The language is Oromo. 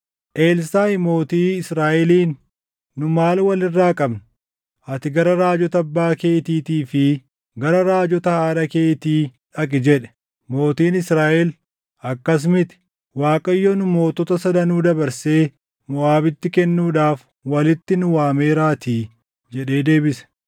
Elsaaʼi mootii Israaʼeliin, “Nu maal wal irraa qabna? Ati gara raajota abbaa keetiitii fi gara raajota haadha keetii dhaqi” jedhe. Mootiin Israaʼel, “Akkas miti; Waaqayyo nu mootota sadanuu dabarsee Moʼaabitti kennuudhaaf walitti nu waameeraatii” jedhee deebise.